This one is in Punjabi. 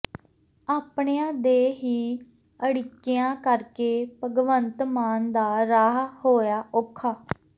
ਆਪਣਿਆਂ ਦੇ ਹੀ ਅੜਿੱਕਿਆਂ ਕਰਕੇ ਭਗਵੰਤ ਮਾਨ ਦਾ ਰਾਹ ਹੋਇਆ ਔਖਾ